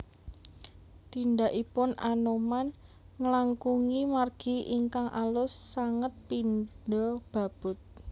Tindhakipun Anoman nglangkungi margi ingkang alus sanget pindha babut